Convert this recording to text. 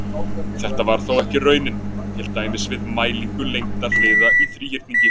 Þetta var þó ekki raunin, til dæmis við mælingu lengda hliða í þríhyrningi.